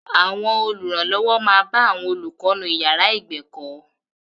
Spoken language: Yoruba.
Àwọn olùrànlọ́wọ́ máa bá àwọn olùkọ́ nú ìyàrá ìgbẹ̀kọ́.